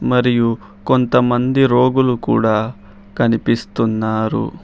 మరియు కొంతమంది రోగులు కూడా కనిపిస్తున్నారు.